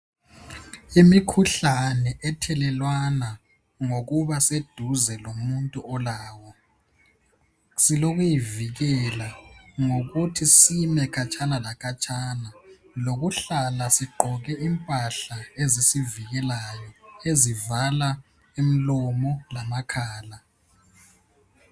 Imikhuhlane ethelelwana ngokuba seduze lomuntu olawo silokuyivikela ngokuthi sime khatshana lakhatshana lokuhlala sigqoke impahla ezisivikelayo ezivala imilomo lamakhala.